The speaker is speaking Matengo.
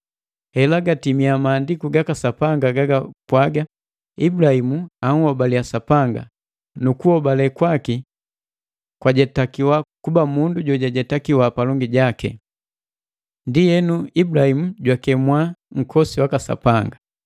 Hela gatimia Maandiku gaka Sapanga gagapwaga: “Ibulahimu anhobaliya Sapanga, na kukuhobale kwaki jajetakiwa kuba mundu jojetakiwi palongi jaki.” Ndienu Ibulahimu jwakemwa nkosi waka Sapanga.